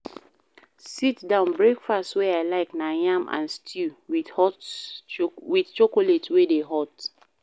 Sit-down breakfast wey I like na yam and stew wit chocolate wey dey hot.